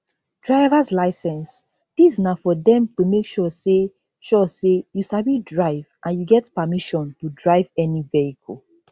drivers licence dis na for dem to make sure say sure say you sabi drive and you get permission to drive any vehicle